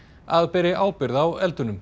að beri ábyrgð á